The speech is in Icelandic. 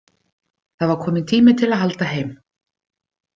Það var kominn tími til að halda heim.